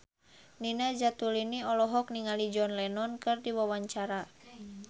Nina Zatulini olohok ningali John Lennon keur diwawancara